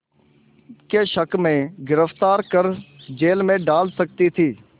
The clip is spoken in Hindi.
के शक में गिरफ़्तार कर जेल में डाल सकती थी